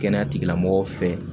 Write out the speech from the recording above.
Kɛnɛya tigilamɔgɔw fɛ